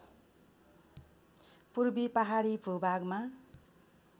पूर्वी पहाडी भूभागमा